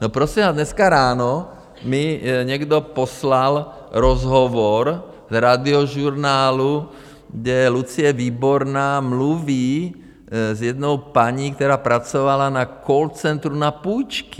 No prosím vás, dneska ráno mi někdo poslal rozhovor z Radiožurnálu, kde Lucie Výborná mluví s jednou paní, která pracovala na call centru na půjčky.